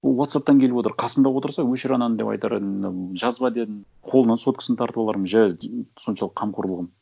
ол уотсапптан келіп отыр қасымда отырса өшір ананы деп айтар едім мынау жазба дедім қолынан соткасын тартып алармын жә соншалық қамқорлығым